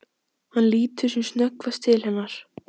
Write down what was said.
Hann lítur sem snöggvast til hennar.